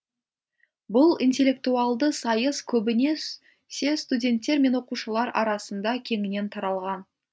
бұл интеллектуалды сайыс көбіне студенттер мен оқушылар арасында кеңінен таралған